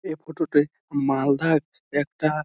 এই ফটো টে মালদা একটা--